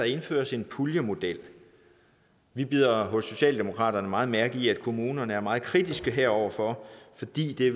indføres en puljemodel vi bider hos socialdemokratiet meget mærke i at kommunerne er meget kritiske heroverfor fordi det